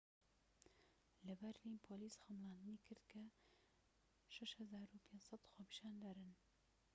لە بەرلین پۆلیس خەمڵاندنی کرد کە ٦٥٠٠ خۆپیشاندەرن